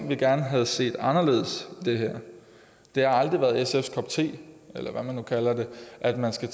vi gerne havde set var anderledes i det her det har aldrig været sfs kop te eller hvad man nu kalder det at man skal